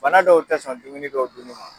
Fana dɔw tɛ sɔn dumuni dɔw dunni ma.